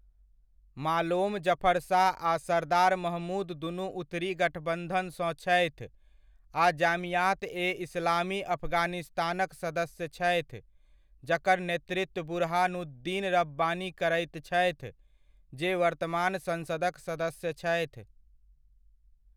मालोम जफर शाह आ सरदार महमूद दुनू उत्तरी गठबंधन सँ छथि आ जामीयात ए इस्लामी अफगानिस्तानक सदस्य छथि जकर नेतृत्व बुरहानुद्दीन रब्बानी करैत छथि जे वर्तमान संसदक सदस्य छथि।